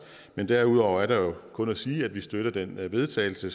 men derudover er der jo kun at sige at vi støtter den vedtagelse